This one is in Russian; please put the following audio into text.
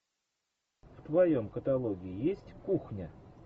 в твоем каталоге есть кухня